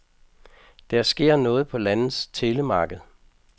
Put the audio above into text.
Der sker noget på landets telemarked.